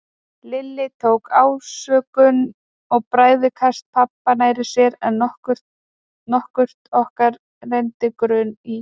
Lilli tók ásökun og bræðikast pabba nær sér en nokkurt okkar renndi grun í.